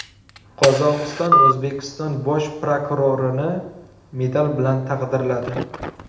Qozog‘iston O‘zbekiston bosh prokurorini medal bilan taqdirladi.